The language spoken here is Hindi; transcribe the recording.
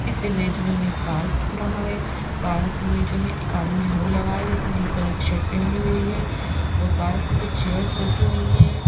इस इमेज में हमें एक पार्क दिख रहा है पार्क में जो है एक आदमी झाड़ू लगाया है जिसने ब्लू कलर की शर्ट पहनी हुई है और पार्क में कुछ चेयर्स रखी हुई हैं।